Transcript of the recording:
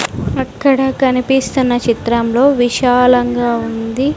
అక్కడ కనిపిస్తున్న చిత్రంలో విశాలంగా ఉంది.